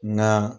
Nka